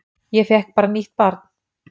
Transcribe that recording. Ég fékk bara nýtt barn